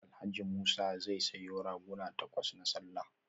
Alhaji Musa zai sayo raguna takwas na sallah